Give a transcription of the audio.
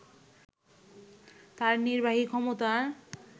তার নির্বাহী ক্ষমতার